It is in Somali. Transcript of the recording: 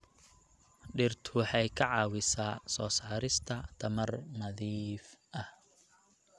Dhirtu waxay ka caawisaa soo saarista tamar nadiif ah.